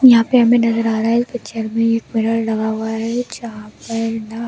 यहाँ पर नज़र आ रहा है पिक्चर में एक मिरर लगा हुआ है जहाँ पर ना हमे।